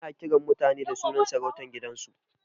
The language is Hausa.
Ana kiran mutane da sunan sarautar gidansu